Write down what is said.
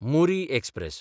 Muri express